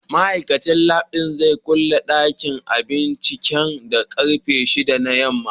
Ma'aikacin lab zai kulle dakin binciken da karfe 6 na yamma.